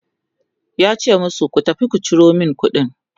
yace musu "tafi ku Ciro min kuɗin!"